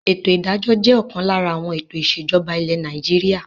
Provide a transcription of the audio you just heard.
Ètò ìdájọ́ jẹ́ ọ̀kan lára àwọn ètò ìsèjọba ilẹ̀ Nàìjíríà.